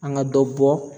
An ka dɔ bɔ